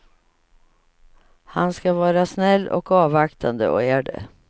Han ska vara snäll och avvaktande och är det.